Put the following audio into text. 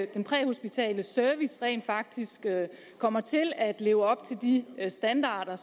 den præhospitale service rent faktisk kommer til at leve op til de standarder